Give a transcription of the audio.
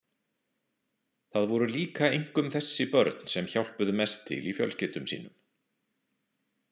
Það voru líka einkum þessi börn sem hjálpuðu mest til í fjölskyldum sínum.